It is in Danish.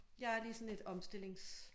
Jeg er lige sådan et omstillings